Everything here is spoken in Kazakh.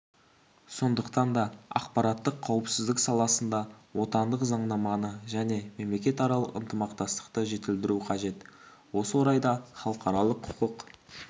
сондықтан да ақпараттық қауіпсіздік саласында отандық заңнаманы және мемлекетаралық ынтымақтастықты жетілдіру қажет осы орайда халықаралық құқық